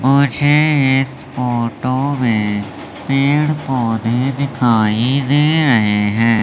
मुझे इस फोटो में पेड़ पौधे दिखाई दे रहे हैं।